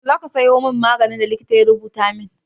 Yaushe za ka sayo min maganin da likita ya rubuta min?